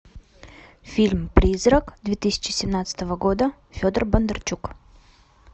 фильм призрак две тысячи семнадцатого года федор бондарчук